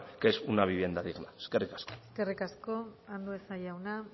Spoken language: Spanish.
que es una vivienda digna eskerrik asko eskerrik asko andueza jauna